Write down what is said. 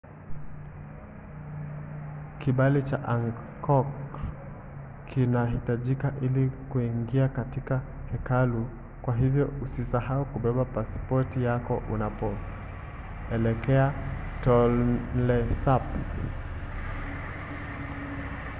kibali cha angkor kinahitajika ili kuingia katika hekalu kwa hivyo usisahau kubeba pasipoti yako unapoelekea tonle sap